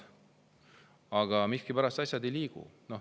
Aga miskipärast asjad ei liigu.